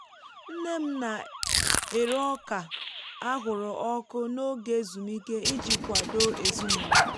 nne m na-ere ọka ahụrụ ọkụ n’oge ezumike iji kwado ezinụlọ